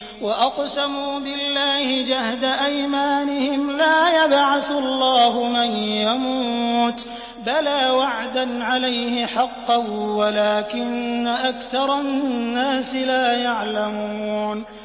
وَأَقْسَمُوا بِاللَّهِ جَهْدَ أَيْمَانِهِمْ ۙ لَا يَبْعَثُ اللَّهُ مَن يَمُوتُ ۚ بَلَىٰ وَعْدًا عَلَيْهِ حَقًّا وَلَٰكِنَّ أَكْثَرَ النَّاسِ لَا يَعْلَمُونَ